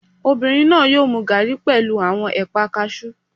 Obìnrin náà yóò mu gaàrí pẹ̀lú àwọn ẹ̀pà kaasú